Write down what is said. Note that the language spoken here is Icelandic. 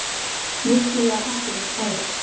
Virkilega hættulegt færi